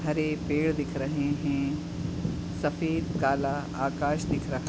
हरे पेड़ दिख रहे हैं सफेद काला आकाश दिख रहा--